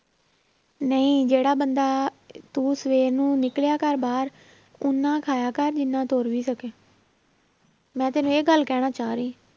ਨਹੀਂ ਜਿਹੜਾ ਬੰਦਾ ਤੂੰ ਸਵੇਰ ਨੂੰ ਨਿਕਲਿਆ ਕਰ ਬਾਹਰ ਓਨਾ ਖਾਇਆ ਕਰ ਜਿੰਨਾ ਤੁਰ ਵੀ ਸਕੇ ਮੈਂ ਤੈਨੂੰ ਇਹ ਗੱਲ ਕਹਿਣਾ ਚਾਹ ਰਹੀ।